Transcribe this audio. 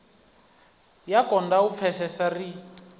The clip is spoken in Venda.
ya konda u pfesesea ri